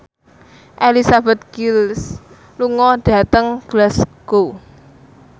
Elizabeth Gillies lunga dhateng Glasgow